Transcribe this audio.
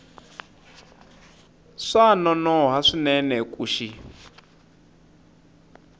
swa nonoha swinene ku xi